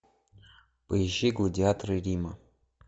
поищи гладиаторы рима